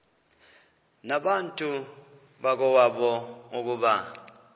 nabantu bakowabo ukuba